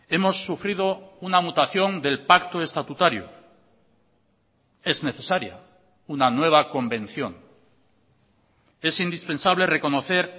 hemos sufrido una mutación del pacto estatutario es necesaria una nueva convención es indispensable reconocer